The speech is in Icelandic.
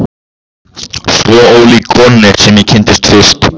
Svo ólík konunni sem ég kynntist fyrst.